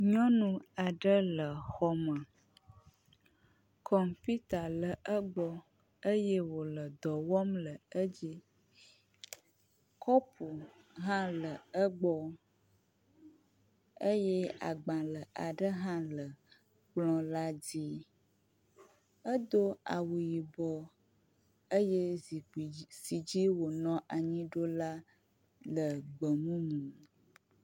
Nyɔnu aɖe le xɔ me. kɔmput le egbɔ eye wo le dɔ wɔm le edzi. Kɔpu hã le egbɔ eye agbale aɖe hã le kpɔ la dzi. Edo awu yibɔ eye zikpui si dzi wonɔ anyi ɖo la le gbemumu